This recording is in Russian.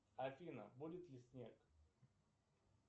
афина будет ли снег